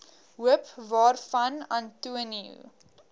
hoop waarvan antonio